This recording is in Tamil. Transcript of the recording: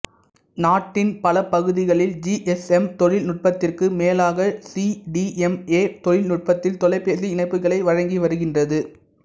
நாட்டின் பலபகுதிகளில் ஜிஎஸ்எம் தொழில்நுட்பத்திற்கு மேலாக சீடிஎம்ஏ தொழில் நுட்பத்தில் தொலைபேசி இணைப்புக்களை வழங்கி வருகின்றது